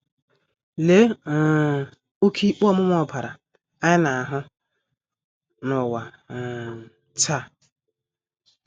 Lee um oké ikpe ọmụma ọbara anyị na - ahụ n’ụwa um taa!